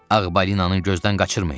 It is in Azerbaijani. Ağ balinanı gözdən qaçırmayın.